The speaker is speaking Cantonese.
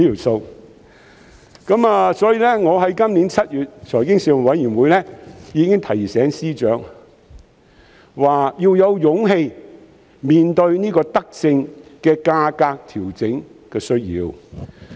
所以，我已在去年7月的財經事務委員會會議上提醒司長，指出要有勇氣面對這項德政的價格調整需要。